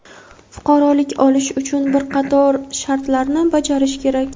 fuqarolik olish uchun bir qator shartlarni bajarish kerak.